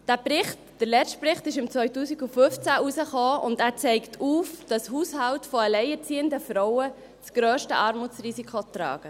Dieser Bericht, der letzte Bericht, kam 2015 heraus, und zeigt auf, dass Haushalte von alleinerziehenden Frauen das grösste Armutsrisiko tragen.